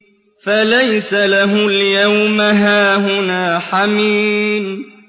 فَلَيْسَ لَهُ الْيَوْمَ هَاهُنَا حَمِيمٌ